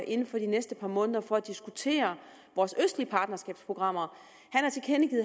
inden for de næste par måneder for at diskutere vores østlige partnerskabsprogrammer